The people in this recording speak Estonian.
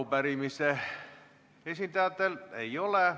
Arupärimise esitajatel ei ole.